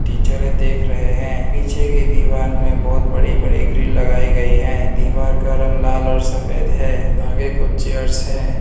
Teacher ये देख रहे हैं पीछे की दीवार में बहोत बड़ी बड़ी ग्रील लगाई गई है दीवार का रंग लाल और सफेद है आगे कुछ चेयर्स है।